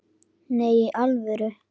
Nei, í alvöru?